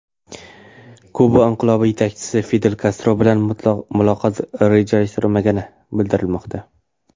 Kuba inqilobi yetakchisi Fidel Kastro bilan muloqot rejalashtirilmagani bildirilmoqda.